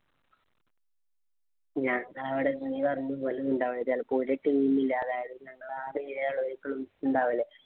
ഞങ്ങടവിടെ നീ പറഞ്ഞപോലെ നിന്‍റെ അവിടെ ചെലപ്പോ ഞങ്ങള് ആറേഴു ആളുകളും ഉണ്ടാവില്ലേ.